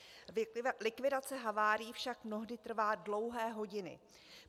Likvidace havárií však mnohdy trvá dlouhé hodiny.